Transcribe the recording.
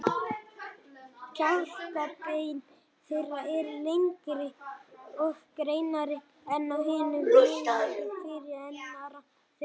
Kjálkabein þeirra eru lengri og grennri en á hinum mögulega fyrirrennara þeirra.